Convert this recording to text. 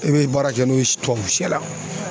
I bɛ baara kɛ n'o ye tubabu shɛ la.